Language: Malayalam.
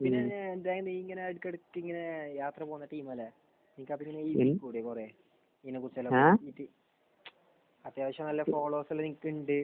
നീയിങ്ങനെ ഇടക്ക് ഇടക്ക് ഇങ്ങനെ യാത്ര പോകുന്ന ടീം അല്ലെ. നിനക്ക് അവിടെ കൂടിക്കൂടെ? ഇങ്ങനെ കുറച്ചെല്ലാം അത്യാവശ്യം നല്ല ഓളമൊക്കെ നിനക്ക് ഉണ്ട്.